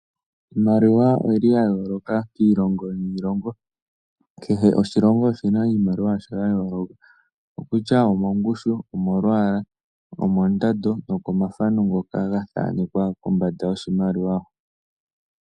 Iimaliwa oyi li ya yooloka kiilongo niilongo. Kehe oshilongo oshi na iimaliwa yasho ya yooloka, okutya omongushu, omolwaala, omondando nokomathano ngoka ga thanekwa kombanda yoshimaliwa hoka.